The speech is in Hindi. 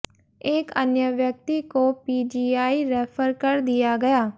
एक अन्य व्यक्ति को पीजीआई रैफर कर दिया गया